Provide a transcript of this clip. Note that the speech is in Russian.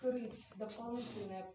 курить дополнительные